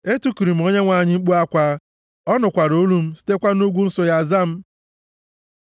Etikuru m Onyenwe anyị mkpu akwa, ọ nụkwara olu m, sitekwa nʼugwu nsọ ya za m. Sela